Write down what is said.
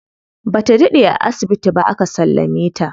Bata daɗe a asibiti ba aka sallame ta.